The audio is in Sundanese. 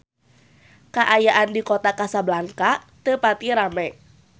Kaayaan di Kota Kasablanka teu pati rame